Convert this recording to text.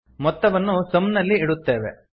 ಮೊತ್ತವನ್ನು ಸಮ್ ನಲ್ಲಿ ಇಡುತ್ತೇವೆ